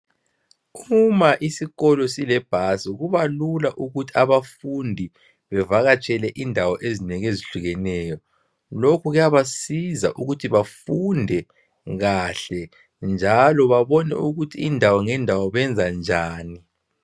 Uma isikolo silebhasi kubalula ukuthi abafundi bevakatshele indawo ezinengi ezihlukeneyo lokhu kuyabasiza ukuthi bafunde kahle njalo babone ukuthi indawo ngendawo benza njani.